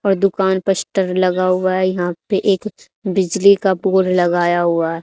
और दुकान लगा हुआ है यहां पे एक बिजली का बोर्ड लगाया हुआ--